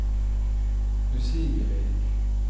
usigelig